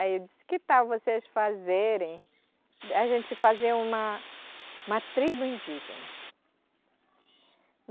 Aí eu disse, que tal vocês fazerem, a gente fazer uma uma tribo indígena.